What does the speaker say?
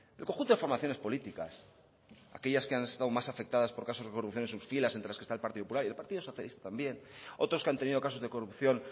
el conjunto de formaciones políticas aquellas que han estado más afectadas por casos de corrupción en sus filas entre las que está el partido popular y el partido socialista también otros que han tenido casos de corrupción